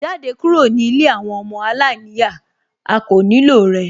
Jáde kúrò ní ilé àwọn ọmọ aláìníyàá, a kò nílò rẹ